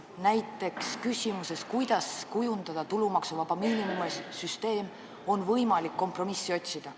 Näiteks küsimuses, missuguseks kujundada tulumaksuvaba miinimumi süsteem, on võimalik kompromissi leida.